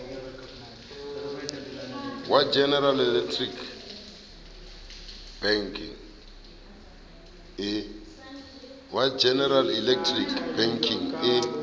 wa general electric bekeng e